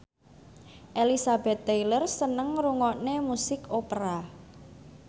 Elizabeth Taylor seneng ngrungokne musik opera